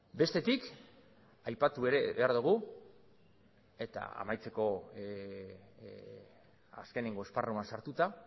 bestetik aipatu ere behar dugu eta amaitzeko azkeneko esparruan sartuta